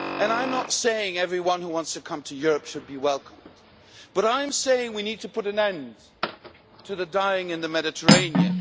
I am not saying everyone who wants to come to Europe should be welcomed, but I am saying we need to put an end to the dying in the Mediterranean.